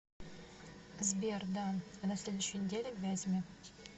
сбер да а на следующей неделе в вязьме